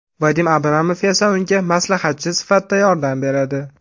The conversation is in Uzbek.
Vadim Abramov esa unga maslahatchi sifatida yordam beradi.